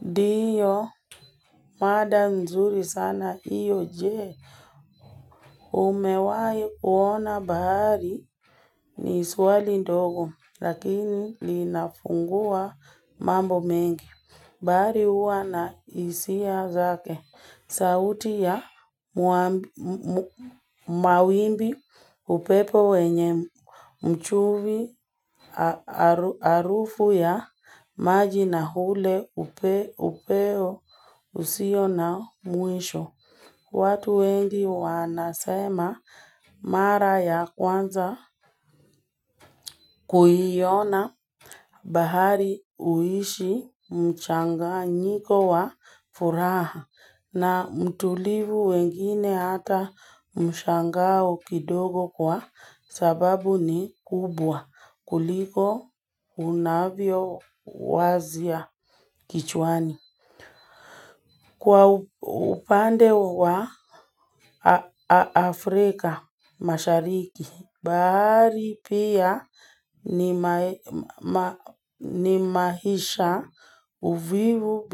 Ndiyo, mada mzuri sana hiyo je? Umewahi kuona bahari ni swali ndogo lakini linafungua mambo mengi. Bahari huwa na hisia zake sauti ya mawimbi upepo wenye chumvi harufu ya maji na ule upeo usio na mwisho. Watu wengi wanasema mara ya kwanza kuiona bahari huishi mchanganyiko wa furaha na mtulivu wengine hata mshangao kidogo kwa sababu ni kubwa kuliko unavyowazia kichwani. Kwa upande wa Afrika Mashariki, bahari pia ni ma ni maisha uvivu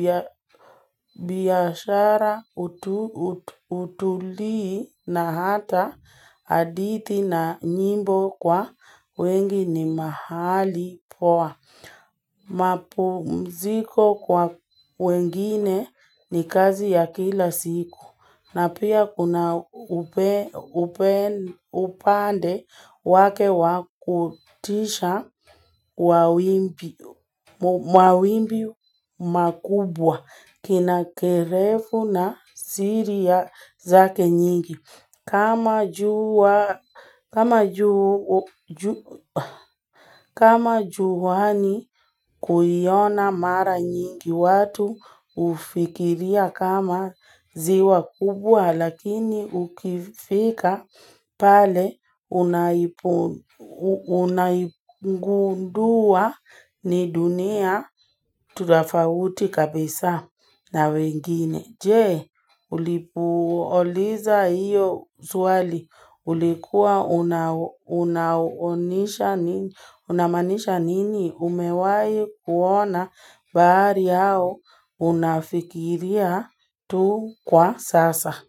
biashara utalii na hata hadithi na nyimbo kwa wengi ni mahali poa. Mapumziko kwa wengine ni kazi ya kila siku. Na pia kuna upande wake wa kutisha wa wa wimbi makubwa kina kirefu na siri zake nyingi kama kama juu kama juani kuiona mara nyingi watu hufikiria kama ziwa kubwa lakini ukifika pale unaipo unaigundua ni dunia tofauti kabisa na wengine. Je, ulipouliza hiyo swali, ulikuwa unamaanisha nini umewahi kuona bahari au unafikiria tu kwa sasa.